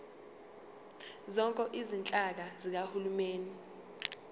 zonke izinhlaka zikahulumeni